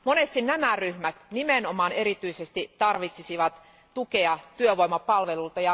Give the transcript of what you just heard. Monesti nämä ryhmät nimenomaan erityisesti tarvitsisivat tukea työvoimapalveluilta.